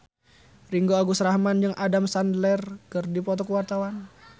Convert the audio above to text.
Ringgo Agus Rahman jeung Adam Sandler keur dipoto ku wartawan